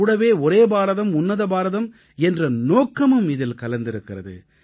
கூடவே ஒரே பாரதம் உன்னத பாரதம் என்ற நோக்கமும் இதில் கலந்திருக்கிறது